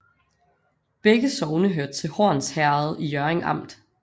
Begge sogne hørte til Horns Herred i Hjørring Amt